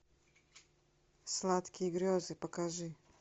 сладкие грезы покажи